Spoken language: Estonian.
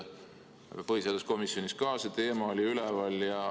Põhiseaduskomisjonis oli samuti see teema üleval.